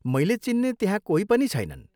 मैले चिन्ने त्यहाँ कोही पनि छैनन्।